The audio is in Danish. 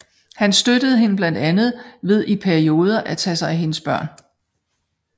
Han støttede hende blandt andet ved i perioder at tage sig af hendes børn